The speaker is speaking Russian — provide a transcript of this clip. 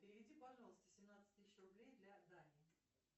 переведи пожалуйста семнадцать тысяч рублей для дани